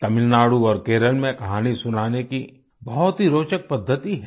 तमिलनाडु और केरल में कहानी सुनाने की बहुत ही रोचक पद्धति है